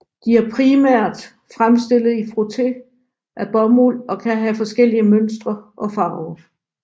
De er primært fremstillet i frotté af bomuld og kan have forskellige mønstre og farver